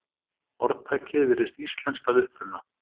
Orðtakið virðist íslenskt að uppruna.